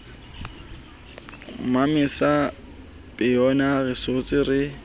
mmamesa poeyana re senotswe re